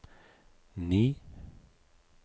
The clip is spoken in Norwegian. ni